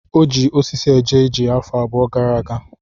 O ji osisi eje ije afọ abụọ gara aga.